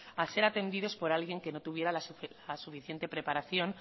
a ser atendidos por alguien que no tuviera la suficiente preparación